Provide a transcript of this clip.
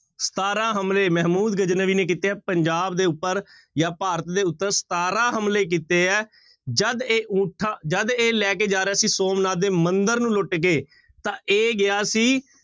ਸਤਾਰਾਂ ਹਮਲੇ ਮਹਿਮੂਦ ਗਜਨਵੀ ਨੇ ਕੀਤੇ ਹੈ ਪੰਜਾਬ ਦੇ ਉੱਪਰ ਜਾਂ ਭਾਰਤ ਦੇ ਉੱਪਰ ਸਤਾਰਾਂ ਹਮਲਾ ਕੀਤੇ ਹੈ, ਜਦ ਇਹ ਊਠਾਂ, ਜਦ ਇਹ ਲੈ ਕੇ ਜਾ ਰਿਹਾ ਸੀ ਸੋਮਨਾਥ ਦੇ ਮੰਦਿਰ ਨੂੰ ਲੁੱਟ ਕੇ ਤਾਂ ਇਹ ਗਿਆ ਸੀ